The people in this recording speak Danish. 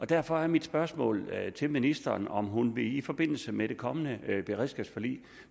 derfor er mit spørgsmål til ministeren om hun i forbindelse med det kommende beredskabsforlig